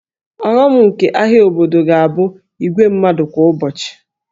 Ọghọm nke ahịa obodo ga-abụ igwe mmadụ kwa ụbọchị